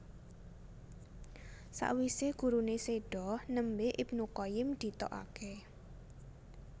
Sakwise gurune sedo nembe Ibnu Qayyim ditokake